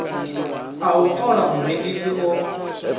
a u ṱola murengisi o